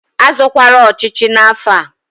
A zọkwara ọchịchị n'afọ a!